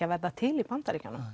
að verða til í Bandaríkjunum